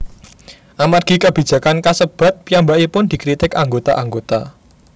Amargi kabijakan kasebat piyambakipun dikritik anggota anggota